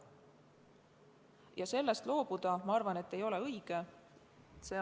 Ma arvan, et sellest põhimõttest loobuda ei ole õige.